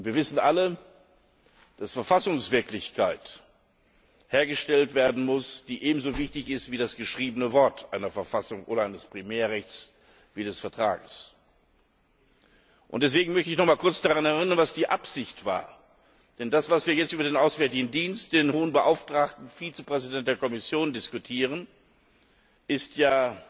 Wir wissen alle, dass Verfassungswirklichkeit hergestellt werden muss, die ebenso wichtig ist wie das geschriebene Wort einer Verfassung oder eines Primärrechts wie des Vertrags. Deswegen möchte ich noch einmal an die Absicht erinnern, denn das, was wir jetzt über den Auswärtigen Dienst, den Hohen Beauftragten und Vizepräsidenten der Kommission diskutieren, ist ja